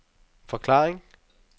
forklaring